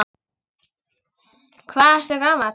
Hvað ertu gamall?